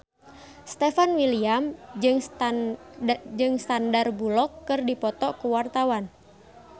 Stefan William jeung Sandar Bullock keur dipoto ku wartawan